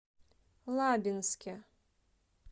лабинске